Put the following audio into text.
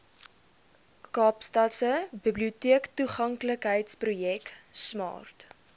kaapstadse biblioteektoeganklikheidsprojek smart